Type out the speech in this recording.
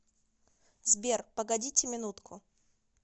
сбер погодите минутку